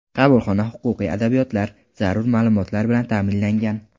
Qabulxona huquqiy adabiyotlar, zarur ma’lumotlar bilan ta’minlangan.